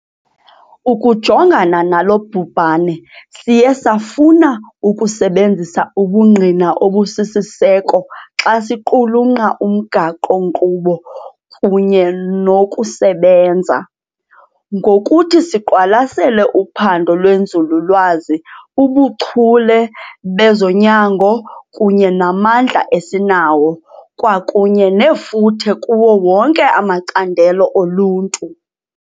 Ukujongana nalo bhubhane siye safuna ukusebenzisa ubungqina obusisiseko xa siqulunkqa umgaqo-nkqubo kunye nokusebenza. Ngokuthi siqwalasele uphando lwenzululwazi, ubuchule bezonyango kunye namandla esinawo, kwakunye nefuthe kuwo wonke amacandelo oluntu.